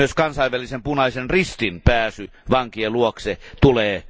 Myös Kansainvälisen punaisen ristin pääsy vankien luokse tulee varmistaa.